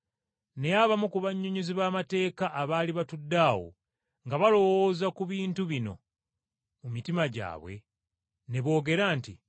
Naye abamu ku bannyonnyozi b’amateeka abaali batudde awo nga balowooza ku bintu bino mu mitima gyabwe ne boogera nti,